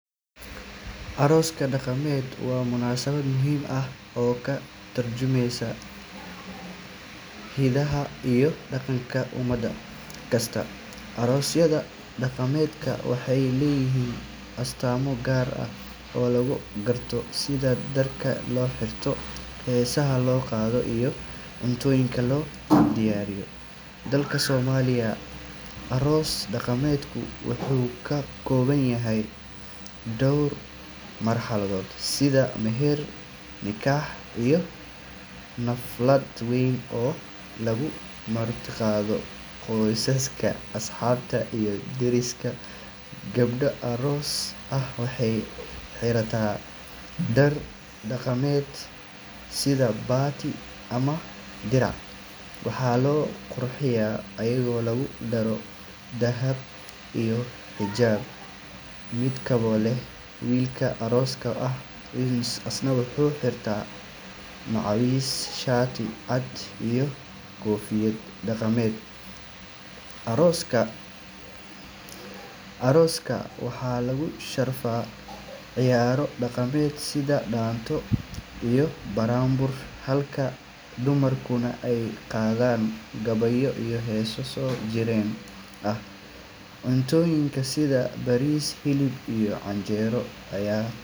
Aroos dhaqameed waa munaasabad muhiim ah oo ka tarjumeysa hidaha iyo dhaqanka ummad kasta. Aroosyada dhaqameed waxay leeyihiin astaamo gaar ah oo lagu garto, sida dharka la xirto, heesaha la qaado, iyo cuntooyinka la diyaariyo. Dalka Soomaaliya, aroos dhaqameedku wuxuu ka kooban yahay dhowr marxaladood sida meher, nikah, iyo xaflad weyn oo lagu martiqaado qoysaska, asxaabta, iyo deriska. Gabadh aroos ah waxay xirataa dhar dhaqameed sida baati ama dirac, waxaana la qurxiyaa iyadoo lagu daro dahab iyo xijaab midabbo leh. Wiilka arooska ah isna wuxuu xidhaa macawis, shaati cad, iyo koofiyad dhaqameed. Arooska waxaa lagu sharfaa ciyaaro dhaqameed sida dhaanto iyo buraanbur, halka dumarkuna ay qaadaan gabayo iyo heeso soo jireen ah. Cuntooyinka sida bariis, hilib, iyo canjeero ayaa.